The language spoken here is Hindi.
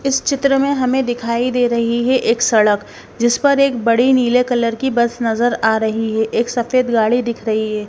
इस चित्र में हमें दिखाई दे रही है एक सड़क जिस पर एक बड़ी नीले कलर की बस नजर आ रही है एक सफेद गाड़ी दिख रही है।